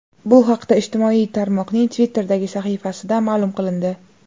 Bu haqda ijtimoiy tarmoqning Twitter’dagi sahifasida ma’lum qilindi .